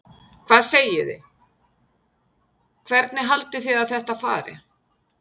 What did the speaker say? Hvað segið þið, hvernig haldið þið að þetta fari?